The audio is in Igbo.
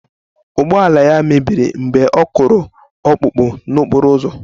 Ụgbọala mebiri mgbe ọ kụrụ ọkpụkpụ n'okporo ụzọ